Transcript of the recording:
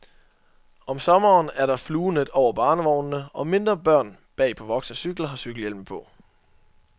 Om sommeren er der fluenet over barnevognene, og mindre børn bag på voksnes cykler har cykelhjelme på.